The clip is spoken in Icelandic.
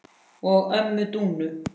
og ömmu Dúnu.